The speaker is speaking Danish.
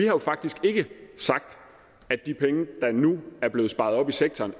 jo faktisk ikke sagt at de penge der nu er blevet sparet op i sektoren